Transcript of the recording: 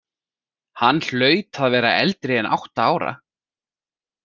Hann hlaut að vera eldri en átta ára.